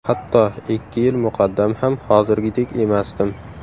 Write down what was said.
Hatto ikki yil muqaddam ham hozirgidek emasdim.